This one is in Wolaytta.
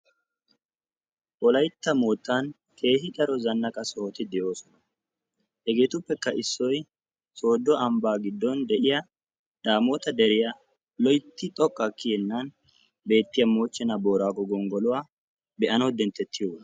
Wolaytta moottan keehi daro zannaqa sohoti de"oosona. Hegeetuppekka issoyi sooddo ambbaa giddon de"iya daamoota deriya loytti xoqqaa kiyennan beettiya moochchenaa booraago gonggoluwa be"anawu denttettiyogaa.